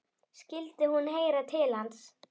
Skyldi hún heyra til hans?